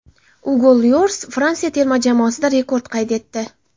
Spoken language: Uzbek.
Ugo Lyoris Fransiya terma jamoasida rekord qayd etdi.